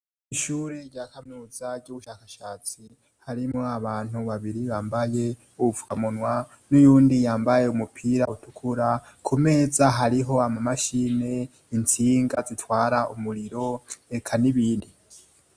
Ishuri rya kaminuza ry'ubushakashatsi . Harimo abantu babiri bambaye uvkamunwa n'uyundi yambaye umupira utukura ku meza hariho ama mashini insinga zitwara umuriro reka n'ibindi.